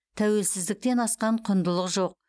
тәуелсіздіктен асқан құндылық жоқ